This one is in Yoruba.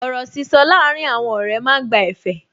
Ọ̀rọ̀ sísọ láàrín àwọn ọ̀rẹ́ máa ń gba ẹ̀fẹ̀